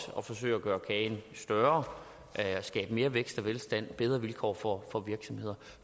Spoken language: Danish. at forsøge at gøre kagen større at skabe mere vækst og velstand og bedre vilkår for virksomheder